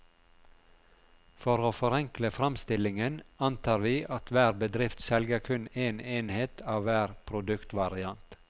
For å forenkle framstillingen, antar vi at hver bedrift selger kun en enhet av hver produktvariant.